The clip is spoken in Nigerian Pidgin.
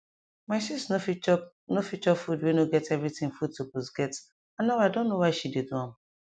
my sis nor fit nor fit chop food wey nor get everything food suppose get and now i don know why she dey do am